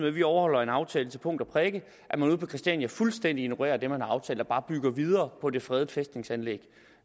at vi overholder en aftale til punkt og prikke ude på christiania fuldstændig ignorerer det man har aftalt og bare bygger videre på det fredede fæstningsanlæg